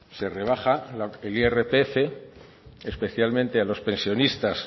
se rebaja el irpf especialmente a los pensionistas